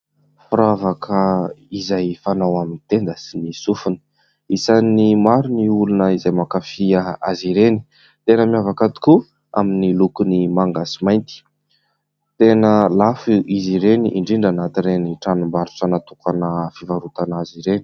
Firavaka izay fanao amin'ny tenda sy ny sofina, isan'ny maro ny olona izay mankafy azy ireny. Tena miavaka moa amin'ny lokony manga sy mainty. Tena lafo izy ireny indrindra anaty ireny tranombarotra natokana fivarotana azy ireny.